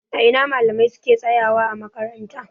A ina malamai ke tsayawa ã makaranta?